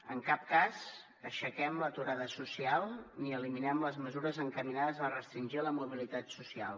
en cap cas aixequem l’aturada social ni eliminem les mesures encaminades a restringir la mobilitat social